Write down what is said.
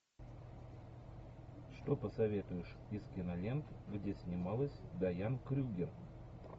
что посоветуешь из кинолент где снималась дайан крюгер